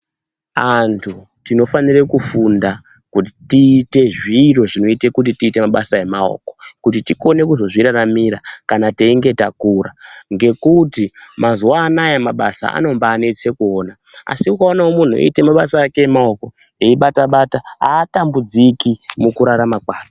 Antu tinofanire kufunda kuti tiite zviro zvinoita kuti tiite mabasa emaoko kuti tikone kuzozviraramira kana teinge takura ngekuti mazuwa anaya mabasa anombanetsa kuona asi ukaonawo munhu eite mabasa ake emaoko eibata-bata atambudziki mukurarama kwake.